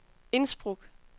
Innsbruck